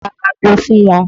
Ra ago fún wọn!